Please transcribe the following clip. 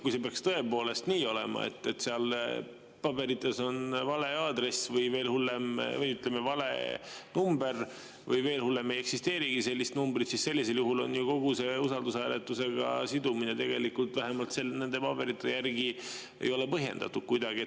Kui see peaks tõepoolest nii olema, et seal paberites on vale aadress või vale number või veel hullem, ei eksisteerigi sellist numbrit, siis sellisel juhul ju kogu see usaldushääletusega sidumine vähemalt nende paberite järgi ei ole põhjendatud.